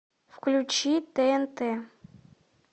включи тнт